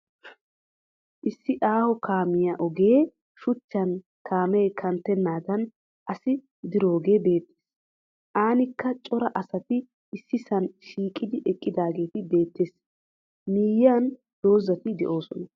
Issi aaho kaamiya ogee shuchchan kaamee kanttennaadan asi diroogee beettes. Aanikka cora asati issisan shiiqidi eqqidaagee beettes. Miyyiyan dozzati doosona.